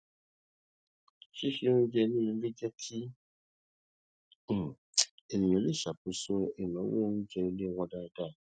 ṣíṣe oúnjẹ ní ilé jẹ kí um ènìyàn lè ṣàkóso ináwó oúnjẹ ilé wọn dáadáa